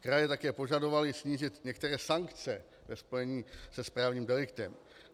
Kraje také požadovaly snížit některé sankce ve spojení se správním deliktem.